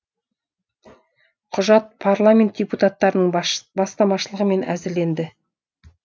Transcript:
құжат парламент депутаттарының бастамашылығымен әзірленді